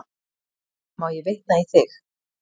Má ég vitna í þig?